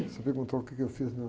Você perguntou o quê que eu fiz, né?